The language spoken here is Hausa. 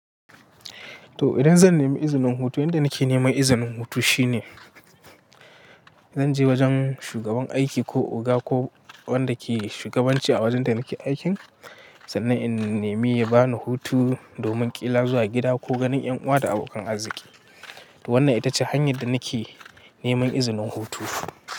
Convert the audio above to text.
To idan zan nemi izinin hutu, yanda nake neman izinin hutu shine zan je wajen shugaban aiki ko oga ko wanda ke shugabanci a wajen da nake aikin, sannan in nemi ya bani hutu domin ƙila zuwa gida ko ganin ƴan uwa da abokan arziki. To wannan ita ce hanyar da nake neman izinin hutu.